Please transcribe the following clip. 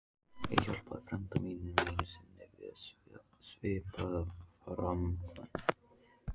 Ég hjálpaði frænda mínum einu sinni við svipaða framkvæmd.